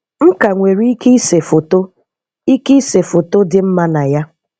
M ka nwere ike ịse foto ike ịse foto dị mma na ya.